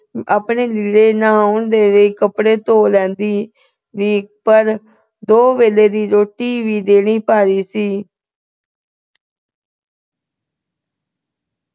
ਆਪਣੇ ਲੀੜੇ ਨਹਾਉਣ ਦੇ ਲਈ ਕੱਪੜੇ ਧੋ ਲੈਂਦੀ ਪਰ ਦੋ ਵੇਲੇ ਦੀ ਰੋਟੀ ਵੀ ਦੇਣੀ ਭਾਰੀ ਸੀ।